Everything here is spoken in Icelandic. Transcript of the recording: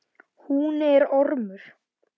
Hún er ormur.